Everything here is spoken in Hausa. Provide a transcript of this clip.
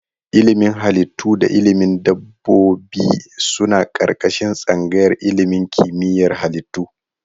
Ilimin Halittu da ilimin dabbobi suna ƙarƙashin tsangayar ilimin kimiyyar halittu.